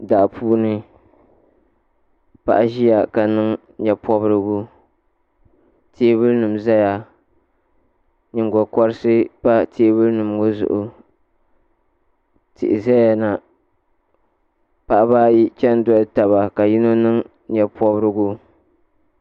Daapuuni paɣi ziya ka niŋ nyɛ pɔrigu teebulnim ʒɛya nyiŋgo korsii pa teebuli maa zuɣu tihi ʒɛyana paɣ' ayi chan dolitaba ka yinɔ niŋ nyɛpɔbirigu